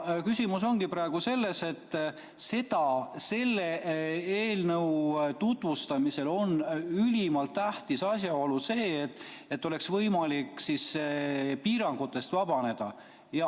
Küsimus ongi praegu selles, et selle eelnõu tutvustamisel on ülimalt tähtis asjaolu see, et oleks võimalik piirangutest vabaneda.